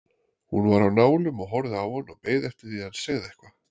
Hún var á nálum og horfði á hann og beið eftir að hann segði eitthvað.